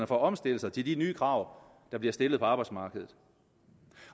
for at omstille sig til de nye krav der bliver stillet på arbejdsmarkedet